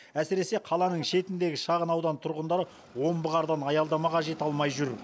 әсіресе қаланың шетіндегі шағын аудан тұрғындары омбы қардан аялдамаға жете алмай жүр